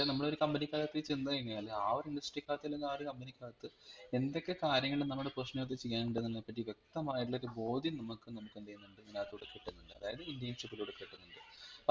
അതായത് നമ്മളൊരു company കാകത്ത് ചെന്നുകഴിനാൽ ആ ഒരു അകത്തു അല്ലെങ്കി ആ ഒരു company ക്കത്ത് എന്തൊക്കെ കാര്യങ്ങൾ നമ്മൾ personally ചെയ്യാനുണ്ട് എന്നുള്ളതിനെ പറ്റി വെക്തമായിട്ടുള്ള ഒരു ബോധ്യം നമ്മക്ക് നമ്മക് എന്തെയ്യുന്നുണ്ട് ഇതിനകത്തുടി കിട്ടുന്നുണ്ട് അതായത് internship ലൂടെ കിട്ടുന്നുണ്ട്